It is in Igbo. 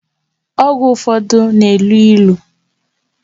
Ọgwụ ụfọdụ na-elu ilu